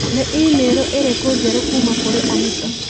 Nĩ i-mīrū ĩrikũ njerũ kuuma kũrĩ Anita